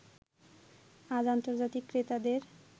আজ আন্তর্জাতিক ক্রেতাদের